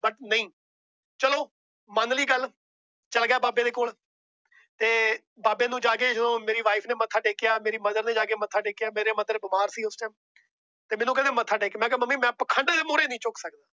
But ਨਹੀਂ ਚਲੋ ਮਨ ਲਈ ਗੱਲ। ਚਲ ਗਿਆ ਬਾਬੇ ਦੇ ਕੋਲ ਤੇ ਬਾਬੇ ਨੂੰ ਜਾਕੇ ਜਦੋ ਮੇਰੀ Wife ਨੇ ਮੱਥਾ ਟੇਕਿਆ। ਮੇਰੀ Mother ਨੇ ਜਾਕੇ ਮੱਥਾ ਟੇਕਿਆ। ਮੇਰੀ Mother ਬਿਮਾਰ ਸੀ ਉਸ Time । ਮੈਨੂੰ ਕਹਿੰਦੇ ਮੱਥਾ ਟੇਕ। ਤੇ ਮੈ ਕਿਹਾ ਮੰਮੀ ਮੈ ਪਖੰਡ ਦੇ ਮੂਹਰੇ ਨਹੀਂ ਝੁਕ ਸਕਦਾ।